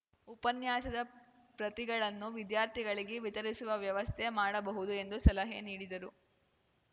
ಉಪನ್ಯಾಸದ ಪ್ರತಿಗಳನ್ನು ವಿದ್ಯಾರ್ಥಿಗಳಿಗೆ ವಿತರಿಸುವ ವ್ಯವಸ್ಥೆ ಮಾಡಬಹುದು ಎಂದು ಸಲಹೆ ನೀಡಿದರು